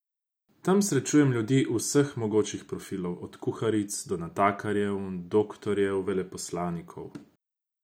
Tam srečujem ljudi vseh mogočih profilov, od kuharic do natakarjev, doktorjev, veleposlanikov.